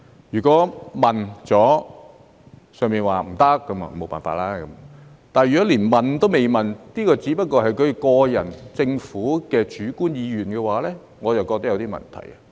如果已經問過，"上面"說"不行"，那就沒法子了；但如果連問也沒問一句，只是局長個人或政府主觀意願的話，我便覺得有點問題。